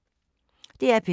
DR P3